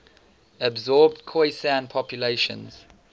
absorbed khoisan populations